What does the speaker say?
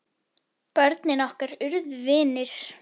Börnin okkar urðu vinir.